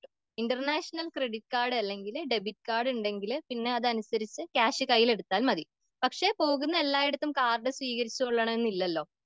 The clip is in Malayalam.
ഇന്റർനാഷണൽ ക്രെഡിറ്റ് കാർഡ് അല്ലെങ്കിൽ ഡെബിറ്റ് കാർഡ് ഉണ്ടെങ്കില് പിന്നെ അതനുസരിച്ച് ക്യാഷ് കൈയിലെടുത്താൽ മതി.പക്ഷെ പോകുന്ന എല്ലായിടത്തും കാർഡ് സ്വീകരിച്ചോളണം എന്നില്ലല്ലോ.